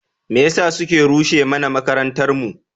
Me yasa suke rushe mana makarantarmu?